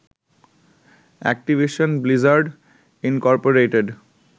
Activision Blizzard Incorporated